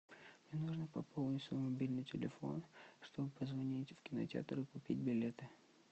мне нужно пополнить свой мобильный телефон чтобы позвонить в кинотеатр и купить билеты